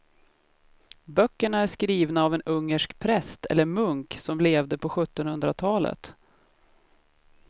Böckerna är skrivna av en ungersk präst eller munk som levde på sjuttonhundratalet.